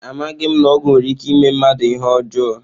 Amaghị m na ọgwụ nwere ike ime mmadụ ihe ọjọọ